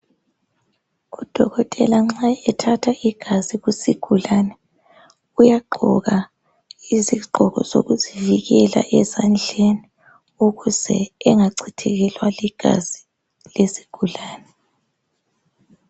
Udokotela nxa ethatha igazi lesigulane uyagqoka izigqoko zokuzivikela ezandleni ukuze engacithekelwa ligazi lezigulane